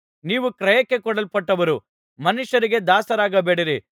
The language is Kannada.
ನೀವು ಕ್ರಯಕ್ಕೆ ಕೊಳ್ಳಲ್ಪಟ್ಟವರು ಮನುಷ್ಯರಿಗೆ ದಾಸರಾಗಬೇಡಿರಿ